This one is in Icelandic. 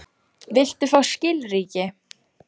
Viltu fá skilríki?